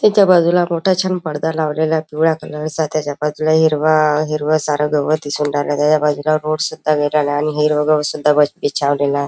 त्याच्या बाजूला मोठा छान पडदा लावलेला पिवळ्या कलरचा त्याच्या बाजूला हिरव हिरव सार गवत दिसून राहील त्याच्या बाजूला रोड सुद्धा आणि हिरव गवत सुद्धा वरती छान--